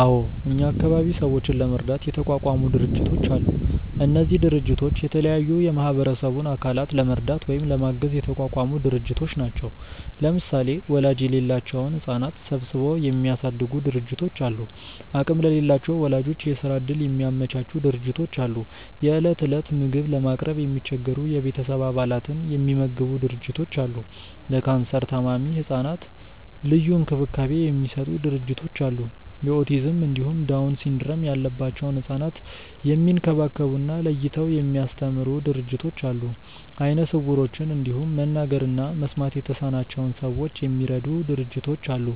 አዎ እኛ አካባቢ ሰዎችን ለመርዳት የተቋቋሙ ድርጅቶች አሉ። እነዚህ ድርጅቶች የተለያዩ የማህበረሰቡን አካላት ለመርዳት ወይም ለማገዝ የተቋቋሙ ድርጅቶች ናቸው። ለምሳሌ ወላጅ የሌላቸውን ህጻናት ሰብስበው የሚያሳድጉ ድርጅቶች አሉ፣ አቅም ለሌላቸው ወላጆች የስራ እድል የሚያመቻቹ ድርጅቶች አሉ፣ የእለት እለት ምግብ ለማቅረብ የሚቸገሩ የቤተሰብ አባላትን የሚመግቡ ድርጅቶች አሉ፣ ለካንሰር ታማሚ ህጻናት ልዩ እንክብካቤ የሚሰጡ ድርጅቶች አሉ፣ የኦቲዝም እንዲሁም ዳውን ሲንድረም ያለባቸውን ህጻናት የሚንከባከቡ እና ለይተው የሚያስተምሩ ድርጅቶች አሉ፣ አይነ ስውሮችን እንዲሁም መናገር እና መስማት የተሳናቸውን ሰዎች የሚረዱ ድርጅቶች አሉ